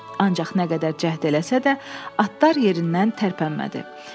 Ancaq nə qədər cəhd eləsə də, atlar yerindən tərpənmədi.